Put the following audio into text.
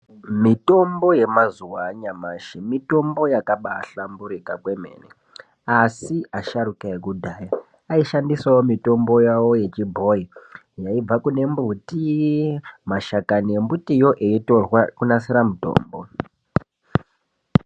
Mitombo yemazuva anyamashi mitombo yakabaahlamburuka kwemene. Asi asharuka ekudhaya aishandisawo mitombo yavo yechibhoyi yaibva kune mbuti, mashakani embutiyo eitorwa kunasira mitombo.